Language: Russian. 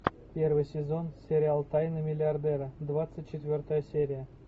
первый сезон сериал тайны миллиардера двадцать четвертая серия